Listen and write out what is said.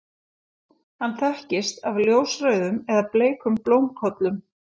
hann þekkist af ljósrauðum eða bleikum blómkollum